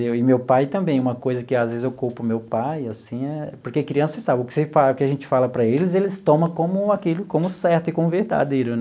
E meu pai também, uma coisa que às vezes eu culpo meu pai, assim é, porque criança sabe, o que você fala o que a gente fala para eles, eles tomam como aquilo como certo e como verdadeiro né.